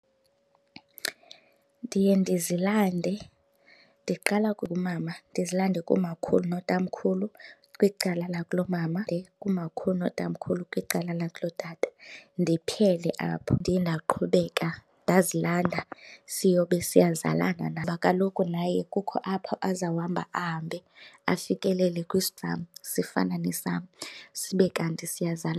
Ndiye ndizilande. Ndiqala kumama ndizilande kumakhulu notamkhulu kwicala lakulomama, kumakhulu notamkhulu kwicala lakulotata ndiphele apho. Ndiye ndaqhubeka ndazilanda siyobe siyazalana kaloku naye kukho apha azawuhamba ahambe afikelele kwesi sam, sifana nesam, sibe kanti .